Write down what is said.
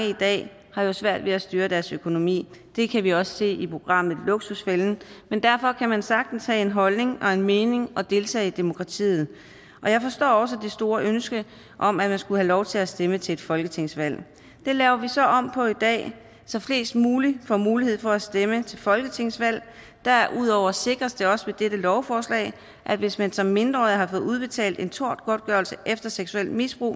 har jo svært ved at styre deres økonomi i det kan vi også se i programmet luksusfælden men derfor kan man sagtens have en holdning og en mening og deltage i demokratiet og jeg forstår også det store ønske om at man skulle have lov til at stemme til et folketingsvalg det laver vi så om på i dag så flest mulige får mulighed for at stemme til folketingsvalg derudover sikres det også med dette lovforslag at hvis man som mindreårig har fået udbetalt en tortgodtgørelse efter seksuelt misbrug